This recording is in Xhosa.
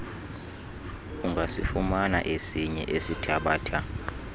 ungasifumana esinye esithabatha